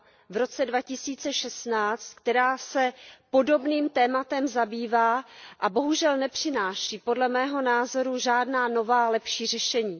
v roce 2016, která se podobným tématem zabývá a bohužel nepřináší, podle mého názoru, žádná nová lepší řešení.